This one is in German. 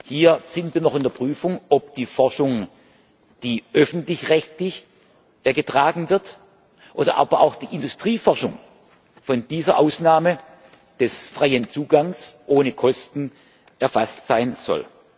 Hier sind wir noch in der Prüfung, ob die Forschung, die öffentlich rechtlich getragen wird, oder aber auch die Industrieforschung von dieser Ausnahme des freien Zugangs ohne Kosten erfasst sein soll.